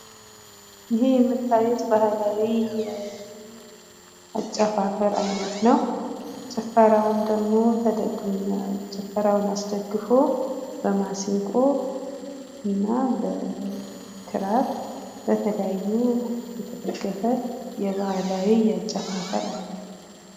ይሄ የምታዩት ባህላዊ የአጨፋፈር አይነት ነው። ጭፈራውን አስደግፎ በ ማሲንቆ እና በ ክራር በተለያዩ የተደገፈ የባህላዊ አጨፋፈር አይነት ነው።